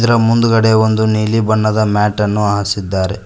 ಅದರ ಮುಂದ್ಗಡೆ ಒಂದು ನೀಲಿ ಬಣ್ಣದ ಮ್ಯಾಟನ್ನು ಹಾಸಿದ್ದಾರೆ.